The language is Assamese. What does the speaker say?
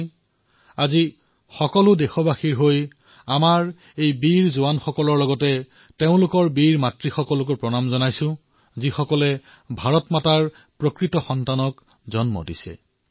মই আজি সমগ্ৰ দেশবাসীৰ তৰফৰ পৰা আমাৰ এই বীৰ জোৱানসকলৰ সৈতে সেই বীৰ মাতৃসকলকো সেৱা যাঁচিছো যিয়ে মাভাৰতীৰ প্ৰকৃত বীৰ পুত্ৰক জন্ম দিছে